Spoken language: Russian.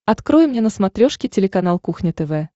открой мне на смотрешке телеканал кухня тв